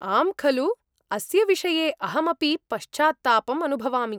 आम् खलु! अस्य विषये अहमपि पश्चात्तापम् अनुभवामि।